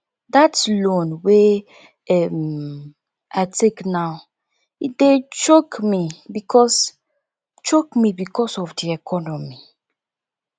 dat loan wey um i take now e dey choke me because choke me because of di economy